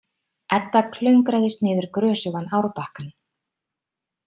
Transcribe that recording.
Edda klöngraðist niður grösugan árbakkann.